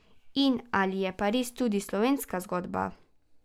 In, ali je Pariz tudi slovenska zgodba?